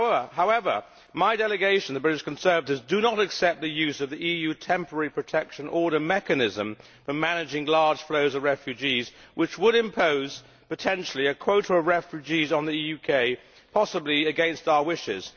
However, my delegation, the British Conservatives, do not accept the use of the EU Temporary Protection Order mechanism when managing large flows of refugees, as this would potentially impose a quota of refugees on the UK, possibly against our wishes.